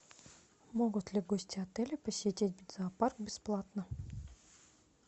могут ли гости отеля посетить зоопарк бесплатно